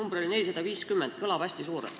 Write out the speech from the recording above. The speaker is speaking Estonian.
See arv oli 450, mis kõlab hästi suurelt.